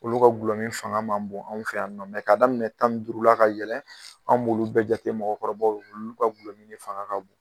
Olu ka gulɔmin fanga ma bon anw fe yan nɔ k'a daminɛ tan ni duuru la ka yɛlɛn an' b'olu bɛɛ jate mɔgɔkɔrɔbaw ye. Olu ka gulɔmin de fanga ka bon.